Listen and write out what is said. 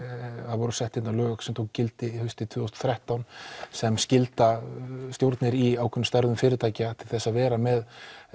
það voru sett hér lög sem tóku gildi haustið tvö þúsund og þrettán sem skilda stjórnir í ákveðnum störfum fyrirtækja til þess að vera með